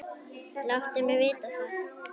Láttu mig vita það.